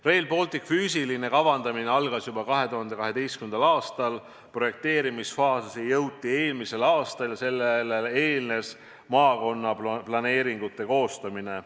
Rail Balticu füüsiline kavandamine algas juba 2012. aastal, projekteerimisfaasi jõuti eelmisel aastal ja sellele eelnes maakonnaplaneeringute koostamine.